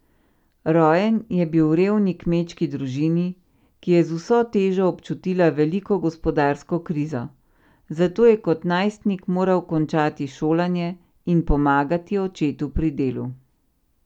Rojen je bil v revni kmečki družini, ki je z vso težo občutila veliko gospodarsko krizo, zato je kot najstnik moral končati šolanje in pomagati očetu pri delu.